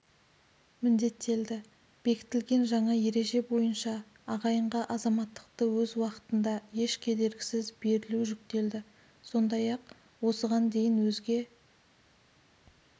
міндеттелді бекітілген жаңа ереже бойынша ағайынға азаматтықты өз уақытында еш кедергісіз берілу жүктелді сондай-ақ осыған дейін өзге